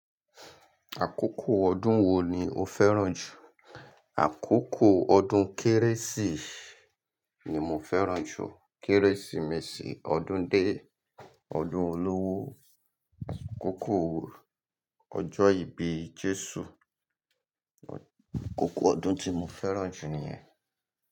Àkókò ọdún wo ni o féràn jù? Àkókò ọdún Kérésì ni mo féràn jù. Kérésìmesì, ọdún dé, ọdún olówó, kókó ọjọ́ ìbí Jésù. Kókó ọdún tí mo féràn jù niyẹn.